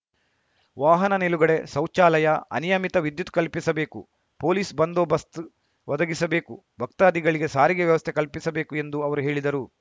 ವಾಹನ ನಿಲುಗಡೆ ಸೌಚಾಲಯ ಅನಿಯಮಿತ ವಿದ್ಯುತ್‌ ಕಲ್ಪಿಸಬೇಕು ಪೊಲೀಸ್‌ ಬಂದೋಬಸ್ತ್ ಒದಗಿಸಬೇಕು ಭಕ್ತಾದಿಗಳಿಗೆ ಸಾರಿಗೆ ವ್ಯವಸ್ಥೆ ಕಲ್ಪಿಸಬೇಕು ಎಂದು ಅವರು ಹೇಳಿದರು